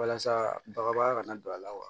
Walasa bagabaga ka na don a la wa